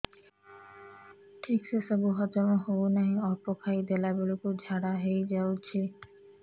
ଠିକସେ ସବୁ ହଜମ ହଉନାହିଁ ଅଳ୍ପ ଖାଇ ଦେଲା ବେଳ କୁ ଝାଡା ହେଇଯାଉଛି